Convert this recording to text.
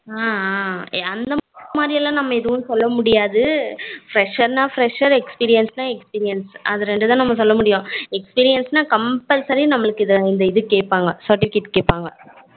ஹம் hmm அந்த மாதிரிலாம் நம்ம எதுவும் சொல்ல முடியாதது fresher னா fresher, experience னா experience அத இரண்டு தான் நம்ம சொல்ல முடியும் experience compulsory நம்மளுக்கு இத கேப்பாங்க certificate கேப்பாங்க